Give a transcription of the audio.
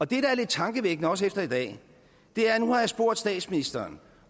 det er lidt tankevækkende også efter i dag at nu har jeg spurgt statsministeren